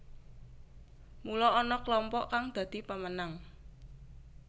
Mula ana klompok kang dadi pemenang